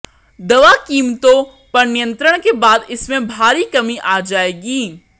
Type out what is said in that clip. दवा कीमतों पर नियंत्रण के बाद इसमें भारी कमी आ जाएगी